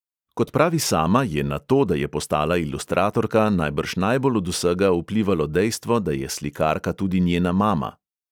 Kot pravi sama, je na to, da je postala ilustratorka, najbrž najbolj od vsega vplivalo dejstvo, da je slikarka tudi njena mama.